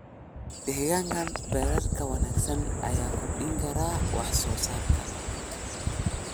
Deegaan beereedka wanaagsan ayaa kordhin kara wax-soo-saarka.